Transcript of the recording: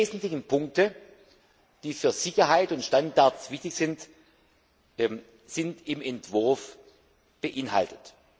Die wesentlichen Punkte, die für Sicherheit und Standards wichtig sind, sind im Entwurf enthalten.